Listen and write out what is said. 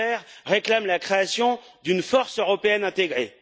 Gahler réclame la création d'une force européenne intégrée.